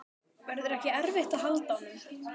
Verður ekki erfitt að halda honum?